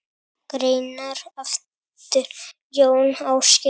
Greinar eftir Jón Ásgeir